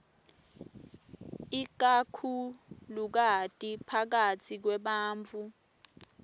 ikakhulukati phakatsi kwebantfu